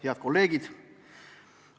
Head kolleegid!